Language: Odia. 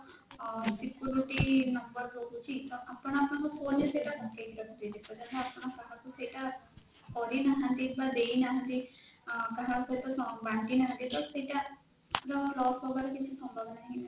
ଆଁ security number ରହୁଛି ତ ଆପଣ ଆପଣକର phone ସେଟା ଯେପର୍ଯ୍ୟନ୍ତ କାହାକୁ ସେଇଟା କରିନାହାଁନ୍ତି ବା ଦେଇ ନାହାଁନ୍ତି କାହା ସହିତ ବାଣ୍ଟି ନାହାଁନ୍ତି ତ ସେଟା loss ହବାର କିଛି ସମ୍ଭାବନା ନାହିଁ